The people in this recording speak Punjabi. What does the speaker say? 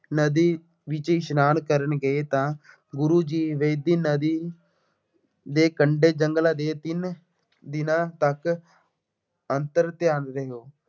ਨਦੀ ਵਿੱਚ ਇਸ਼ਨਾਨ ਕਰਨ ਗਏ ਤਾਂ ਗੁਰੂ ਜੀ ਵੇਈਂ ਨਦੀ ਦੇ ਕੰਢੇ ਜੰਗਲ ਦੇ ਅਧੀਨ ਦਿਨਾ ਤੱਕ ਅੰਤਰ-ਧਿਆਨ ਰਹੇ।